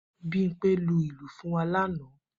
Bimpe lu ìlù fún wa lánàá